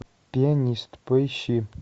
пианист поищи